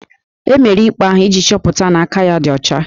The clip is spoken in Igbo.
E mere ikpe ahụ iji chọpụta na aka ya ọ dị ọcha